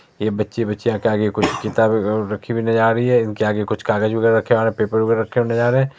ये बच्चे - बच्चियां के आगे कुछ किताबे उ र रखी हुई नजर आ रही है। इनके आगे कुछ कागज वगैरा रखे है पेपर वगैरा रखे हुए नज़र आ रहे है।